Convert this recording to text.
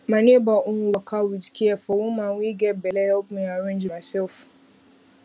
my neighbor own waka with care for woman wey get belle help me arrange myself